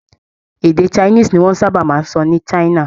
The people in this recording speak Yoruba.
Èdè Chinese ni wọ́n sábà máa ń sọ ní China.